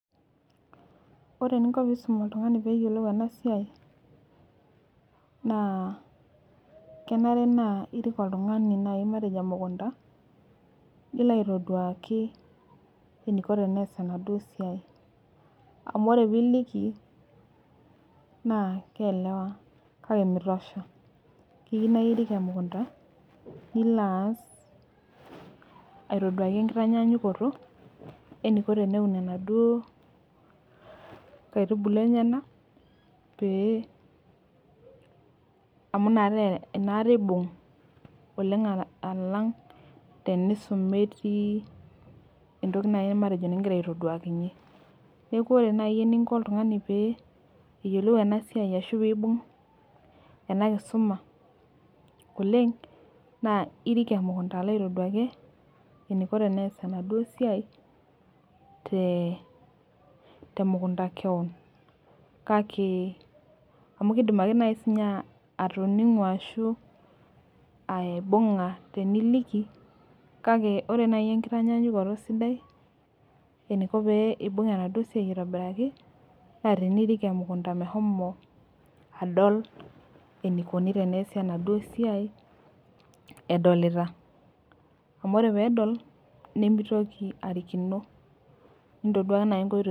Ore eninko pee iisum oltungani pee eyiolou ena siai. naa kenare nas irik oltungani matejo emukunta Niko aitoduaki eniko pees enaduoo siai. amu ore pee iliki naa keelewa. kake .nitosha. keyiue naa irik emukunta, nilo aas aitoduaki tenkitanyaanyukoto, eniko teneun enaduo nkaitubulu enyenak. pee amu inakata eibung' oleng alang',tenisum metii entoki naaji matejo nigira aitoduakinye. neeku ore naaji eninko oltungani pee eyiolou ena siai ashu pee eibung' ena kisuma oleng, naa irik emukunta alo aitoduaki eneiko tenees enaduoo siai, te mukunta kewon. kake amu kidim ake sii ninye naaji atoning'o ashu aibung'a teniliki. kake ore naaji tenkitanyaanyukoto sidai idim aibung'a enaduo siai aitobiraki. naa tenirik emukunta meshomo adol enikoni. Enaduoo siai edolita. amu ore pee edol nemeitoki alaikino. nintoduaka naji nkoitoi.